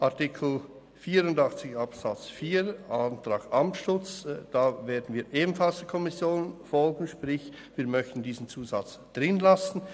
Zu Artikel 84 Absatz 4, Antrag Amstutz: Hier werden wir ebenfalls der Kommission folgen, sprich, wir möchten diesen Zusatz drin lassen.